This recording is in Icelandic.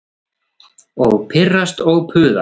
Og pirrast og puða.